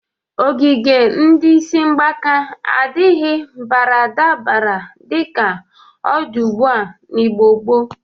Ogige ndị isi mgbaka adịghị baradabara dịka ọ dị ugbụa n'Igbo gboo.